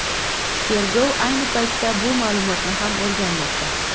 Tergov ayni paytda bu ma’lumotni ham o‘rganmoqda.